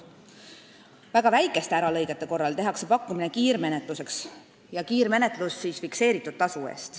Väga väikeste äralõigete korral tehakse pakkumine kiirmenetluseks fikseeritud tasu eest.